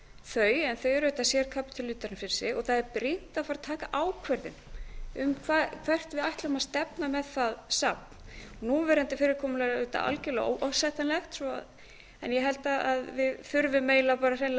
þau en þau eru auðvitað sérkapítuli út af fyrir sig og á er brýnt að far að taka ákvörðun um hvert við ætlum að stefna með það safn núverandi fyrirkomulag er auðvitað algjörlega óásættanlegt en ég held að við þurfum eiginlega bara hreinlega bara